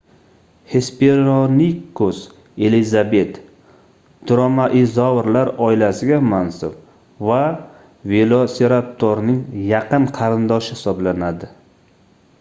hesperonikus elizabet dromaeozavrlar oilasiga mansub va velosiraptorning yaqin qarindoshi hisoblanadi